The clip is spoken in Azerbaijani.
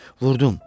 Vurdum.